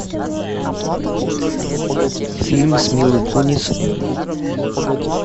фильм с милой кунис